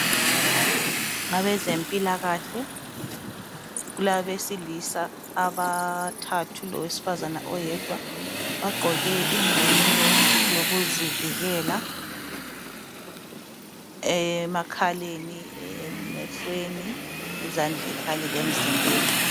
Abezempilakahle kulabesilisa abathathu Lowesifazana oyedwa bagqoke imvunulo yokuzivikela eyemakhaleni leyemehlweni ezandleni Kanye lemzimbeni.